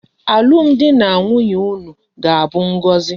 Alum di na nwunye unu ga abu ngozi